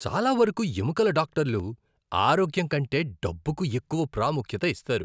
చాలా వరకు ఎముకల డాక్టర్లు ఆరోగ్యం కంటే డబ్బుకు ఎక్కువ ప్రాముఖ్యత ఇస్తారు.